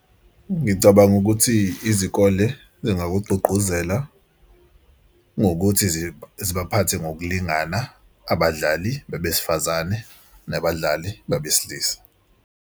Ngicabanga ukuthi izikole zingakugqugquzela ngokuthi zibaphathe ngokulingana abadlali besifazane nabadlali babesilisa.